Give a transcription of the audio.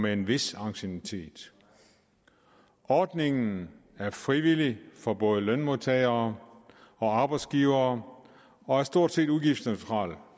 en vis anciennitet ordningen er frivillig for både lønmodtagere og arbejdsgivere og er stort set udgiftsneutral